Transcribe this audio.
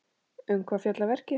Um hvað fjallar verkið?